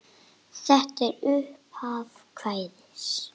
Og er þetta upphaf kvæðis